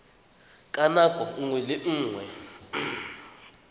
ka nako nngwe le nngwe